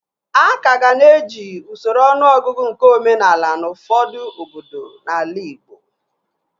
A kaga na-eji usoro ọnụọgụgụ nke omenaala n'ufọdụ obodo n'ala Ịgbo